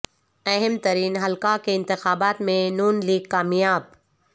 اہم ترین حلقہ کے انتخابات میں ن لیگ کامیاب